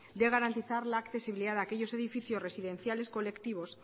de garantizar la accesibilidad a aquellos edificios residenciales colectivos